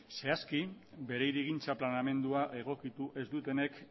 zehazki bere hirigintza planteamendua egokitu ez dutenek